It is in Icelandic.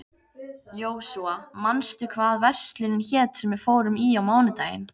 Jósúa, manstu hvað verslunin hét sem við fórum í á mánudaginn?